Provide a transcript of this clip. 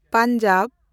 Punjab